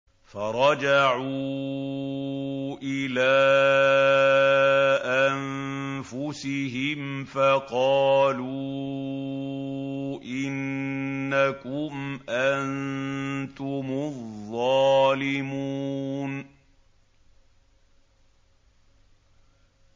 فَرَجَعُوا إِلَىٰ أَنفُسِهِمْ فَقَالُوا إِنَّكُمْ أَنتُمُ الظَّالِمُونَ